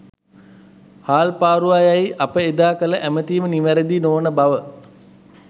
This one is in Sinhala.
හාල්පාරුවා යැයි අප එදා කළ ඇමතීම නිවරදි නොවන බව